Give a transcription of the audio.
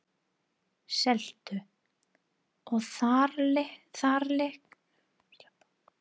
Seltu- og þaralykt fyllir vit þeirra.